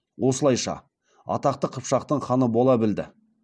осылайша атақты қыпшақтың ханы бола білді